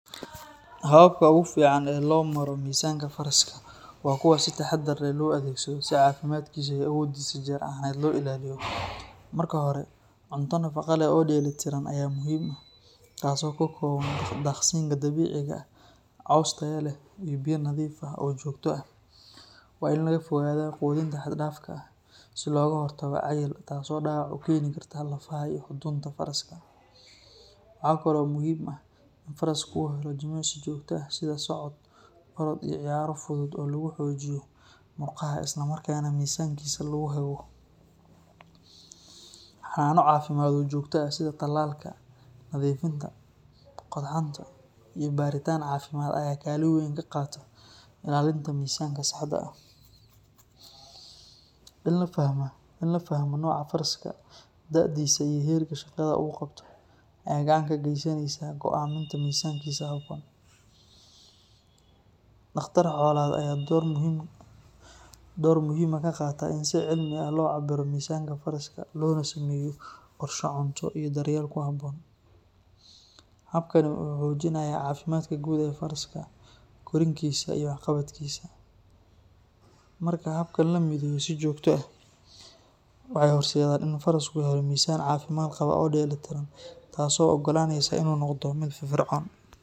Hababka ugu fiican ee loo maro miisaanka faraska waa kuwo si taxadar leh loo adeegsado si caafimaadkiisa iyo awooddiisa jir ahaaneed loo ilaaliyo. Marka hore, cunto nafaqo leh oo dheelitiran ayaa muhiim ah, taasoo ka kooban daaqsinka dabiiciga ah, caws tayo leh iyo biyo nadiif ah oo joogto ah. Waa in laga fogaadaa quudinta xad-dhaafka ah si looga hortago cayil, taasoo dhaawac u keeni karta lafaha iyo xudunta faraska. Waxaa kaloo muhiim ah in faraska uu helo jimicsi joogto ah sida socod, orod iyo ciyaaro fudud oo lagu xoojiyo murqaha isla markaana miisaankiisa lagu hago. Xannaano caafimaad oo joogto ah sida tallaalka, nadiifinta qodxanta iyo baaritaan caafimaad ayaa kaalin weyn ka qaata ilaalinta miisaankiisa saxda ah. In la fahmo nooca faraska, da'diisa, iyo heerka shaqada uu qabto ayaa gacan ka geysanaysa go'aaminta miisaankiisa habboon. Dhakhtar xoolaad ayaa door muhiim ah ka qaata in si cilmi ah loo cabbiro miisaanka faraska loona sameeyo qorshe cunto iyo daryeel ku habboon. Habkani wuxuu xoojinayaa caafimaadka guud ee faraska, korriinkiisa iyo waxqabadkiisa. Marka hababkan la mideeyo si joogto ah, waxay horseedaan in farasku helo miisaan caafimaad qaba oo dheelitiran, taasoo u oggolaanaysa inuu noqdo mid firfircoon.